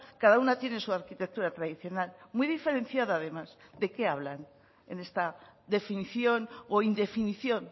cada una tiene su arquitectura tradicional muy diferenciada además de qué hablan en esta definición o indefinición